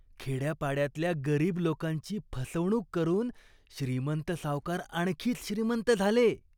खेड्यापाड्यातल्या गरीब लोकांची फसवणूक करून श्रीमंत सावकार आणखीच श्रीमंत झाले.